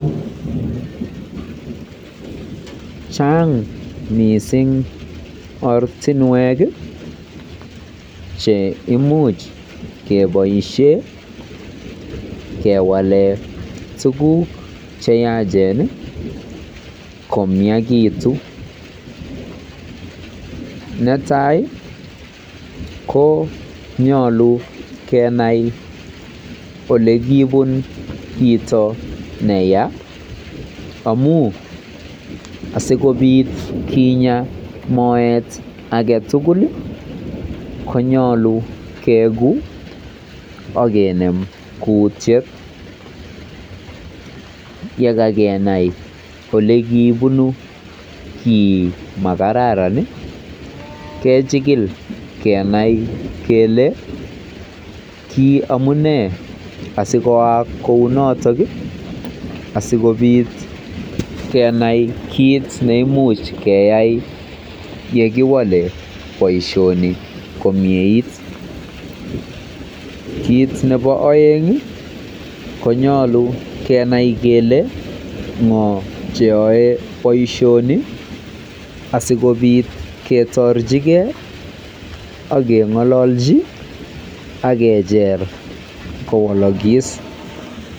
Chaang mising ortinwek cheimuch keboisie kewale tuguk cheyaachen komiakitu. Netai konyolu kenai olebunu kit neya amu asikobiit kinya moet age tugul konyolu kekuu akenem kuutiet. Yekakenai olebunu kiit neya konyolu kejikil asikenai kele ki amune asikotoi asikenai kiit neimuch keboisie sikewal komieit. Kiit nerubei konyolu kenai kele ng'o neyaei boisioni asikobiit keng'ololji akejer kowolokis.